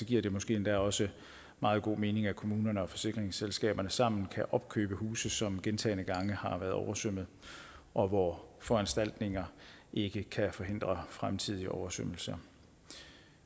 giver det måske endda også meget god mening at kommunerne og forsikringsselskaberne sammen kan opkøbe huse som gentagne gange har været oversvømmet og hvor foranstaltninger ikke kan forhindre fremtidige oversvømmelser